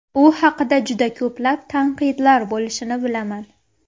U haqida juda ko‘plab tanqidlar bo‘lishini bilaman.